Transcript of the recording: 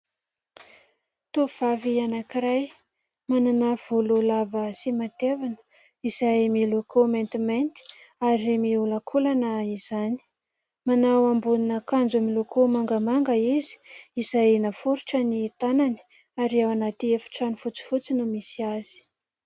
Tovovavy anankiray manana volo lava sy matevina izay miloko maintimainty ary miolakolana izany, manao ambonin'akanjo miloko mangamanga izy izay naforitra ny tanany ary ao anaty efitrano fotsifotsy no misy azy.